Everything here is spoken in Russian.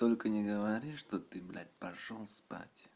только не говори что ты блять пошёл спать